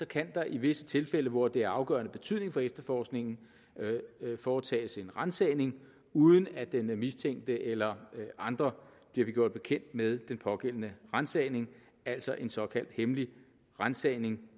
kan der i visse tilfælde hvor det er af afgørende betydning for efterforskningen foretages en ransagning uden at den mistænkte eller andre bliver gjort bekendt med den pågældende ransagning altså en såkaldt hemmelig ransagning